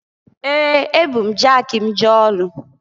Ee! Ebu m jaki m jee ọlụ.